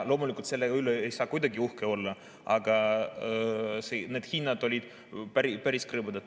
Loomulikult, selle üle ei saa kuidagi uhke olla, aga need hinnad olid päris krõbedad.